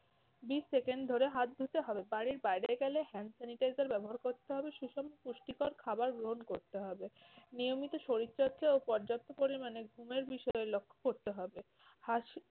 বিশ second ধরে হাত ধুতে হবে। বাড়ির বাইরে গেলে hand sanitizer ব্যবহার করতে হবে। সুষম পুষ্টিকর খাবার গ্রহণ করতে হবে, নিয়মিত শরীর চর্চা ও পর্যাপ্ত পরিমাণে ঘুমের বিষয়ে লক্ষ্য করতে হবে। হাঁচি